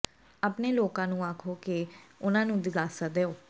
ਆਪਣੇ ਲੋਕਾਂ ਨੂੰ ਆਖੋ ਕਿ ਉਨ੍ਹਾਂ ਨੂੰ ਦਿਲਾਸਾ ਦਿਓ